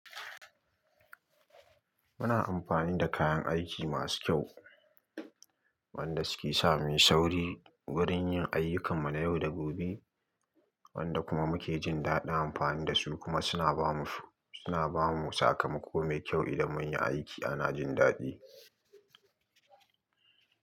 Muna amfani da kayan aiki masu kyau, wanda suke sa mu yi sauri wurin yin ayyukan mu na yau da gobe, wanda kuma muke jin daɗin amfani da su kuma suna ba mu, suna ba mu sakamako mai kyau idan mun yi aiki ana jin daɗi.